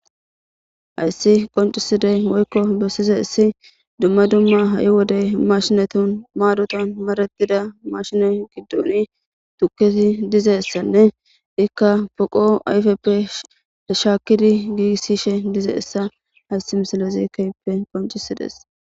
Hayssi qoncisidey woykko bessize issi dumma dumma ha'i wodey mashinatun maadoton maretida mashine giddon tuketi dizeyssanne ikka poqo ayfeppe dishaakidi giisishe dize issa haysi misalezi kayppe qoncisides